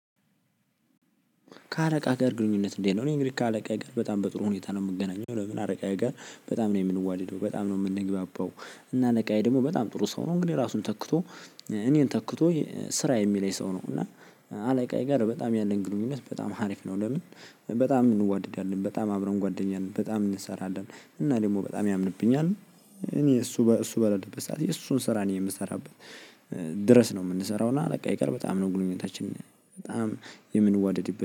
ከአለቃ ጋር ግንኙነት እንዴት ነው? እኔ እንግዲህ ከአለቃ ጋር በጣም በጥሩ ሁኔታ ነው የምገኘው። ለምን አለቃ ጋር በጣም ነው የምንዋድደው በጣም ነው የምንግባባው እና አለቃዬ ደግሞ በጣም ጥሩ ሰው ነው። እንግዲህ ራሱን ተክቶ እኔን ተክቶ ስራ የሚለኝ ሰው ነው። እና አለቃዬ ጋር በጣም ያለን ግንኙነት በጣም ሀሪፍ ነው። ለምን? በጣም እንዋደዳለን በጣም አብረን ጓደኛን በጣም እንሰራለን። እና ደግሞ በጣም ያምንብኛል። እኔ እሱ እሱ በለለበት ሰዓት የእሱን ስራ እኔ የምሰራበት ድረስ ነው። የምንሰራው እና በቃ ይቅር በጣም ነው ግንኙነታችን በጣም የምንዋደድ